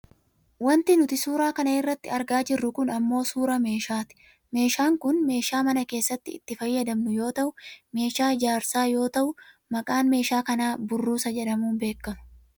Wanti nuti suura kana irratti argaa jirru kun ammoo suuraa meshaati. Meeshaan kun meeshaa mana keessatti itti fayyadamnu yoo ta'u meeshaa ijaarsaa yoo ta'u maqaan meeshaa kanaa burruusa jedhamuun beekkama